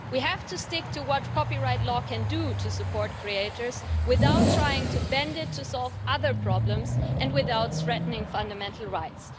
We have to stick to what copyright law can do to support creators without trying to bend it to solve other problems and without threatening fundamental rights.